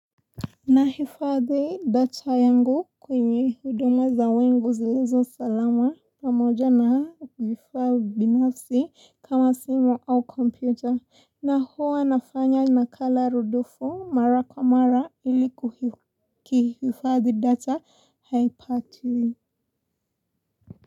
Nahifadhi data yangu kwenye huduma za wengu zilizo salama pamoja na vifaa binafsi kama simu au kompyuta na huwa nafanya nakala rudufu mara kwa mara ilikuki hifadhi data haipatwi.